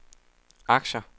aktier